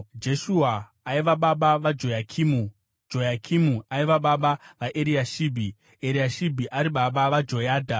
Jeshua aiva baba vaJoyakimu, Joyakimu aiva baba vaEriashibhi, Eriashibhi ari baba vaJoyadha,